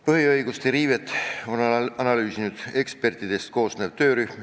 Põhiõiguste riivet on analüüsinud ekspertidest koosnev töörühm.